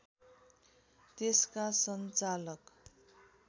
त्यसका सञ्चालक